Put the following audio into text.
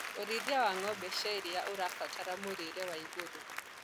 ũrĩithi wa ng'ombe cia iria ũrabatara mũrĩre wa igũrũ